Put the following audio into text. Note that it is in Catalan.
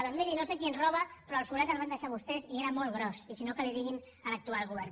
doncs miri no sé qui ens roba però el forat el van deixar vostès i era molt gros i si no que li ho diguin a l’actual govern